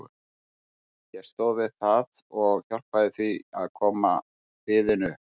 Ég stóð við það og hjálpaði því að koma liðinu upp.